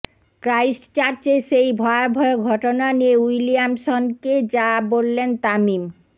ক্রাইস্টচার্চের সেই ভয়াবহ ঘটনা নিয়ে উইলিয়ামসনকে যা বললেন তামিম